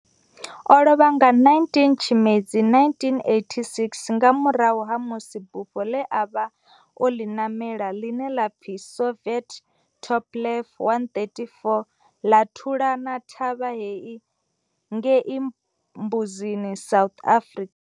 O lovha nga 19 Tshimedzi 1986 nga murahu ha musi bufho ḽe a vha o ḽi namela, ḽine ḽa pfi Soviet Tupolev 134 ḽa thulana thavha ngei Mbuzini, South Africa.